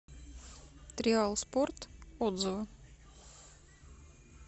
триал спорт отзывы